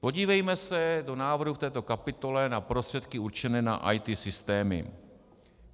Podívejme se do návrhu v této kapitole na prostředky určené na IT systémy.